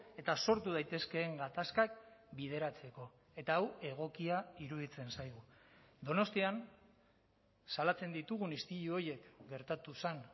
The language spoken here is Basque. eta sortu daitezkeen gatazkak bideratzeko eta hau egokia iruditzen zaigu donostian salatzen ditugun istilu horiek gertatu zen